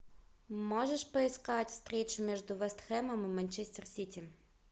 можешь поискать встречу между вест хэмом и манчестер сити